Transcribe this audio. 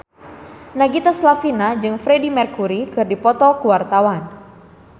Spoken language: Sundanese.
Nagita Slavina jeung Freedie Mercury keur dipoto ku wartawan